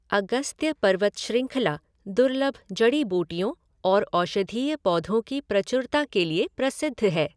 अगस्त्य पर्वत श्रृंखला दुर्लभ जड़ी बूटियों और औषधीय पौधों की प्रचुरता के लिए प्रसिद्ध है।